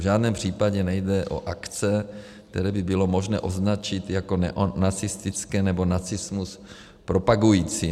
V žádném případě nejde o akce, které by bylo možné označit jako neonacistické nebo nacismus propagující.